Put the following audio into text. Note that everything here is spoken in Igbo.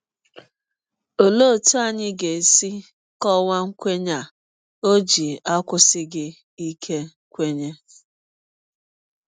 Ọlee ọtụ anyị ga - esi kọwaa nkwenye a ọ ji akwụsighị ike kwenye?